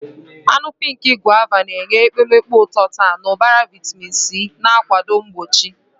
Anụ pink Guava na-enye ekpomeekpo ụtọ-tart na ụbara vitamin C, na-akwado mgbochi.